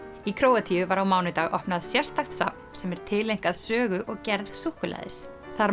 í Króatíu var á mánudag opnað sérstakt safn sem er tileinkað sögu og gerð súkkulaðis þar